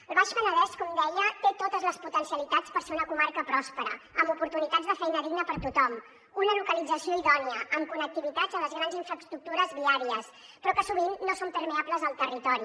el baix penedès com deia té totes les potencialitats per ser una comarca pròspera amb oportunitats de feina digna per a tothom una localització idònia amb connectivitat amb les grans infraestructures viàries però que sovint no són permeables al territori